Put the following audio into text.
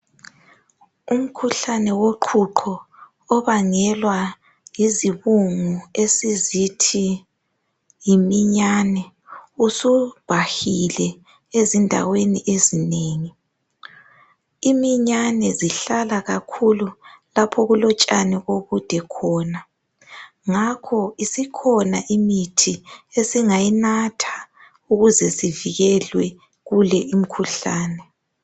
Umkhuhlane woqhuqho obangelwa yizibungu esizithi yiminyane, usubhahile ezindaweni ezinengi. Iminyane zihlala kakhulu lapho okulotshani obude khona ngakho isikhona imithi esingayinatha ukuze sivikelwa kule imikhuhlane